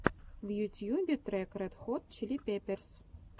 в ютьюбе трек ред хот чили пеперс